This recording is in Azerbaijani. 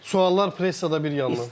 Suallar pressada bir yanan.